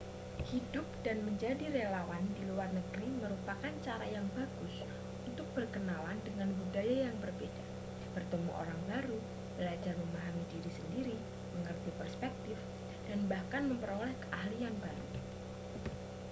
hidup dan menjadi relawan di luar negeri merupakan cara yang bagus untuk berkenalan dengan budaya yang berbeda bertemu orang baru belajar memahami diri sendiri mengerti perspektif dan bahkan memperoleh keahlian baru